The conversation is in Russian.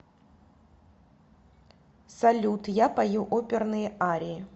салют я пою оперные арии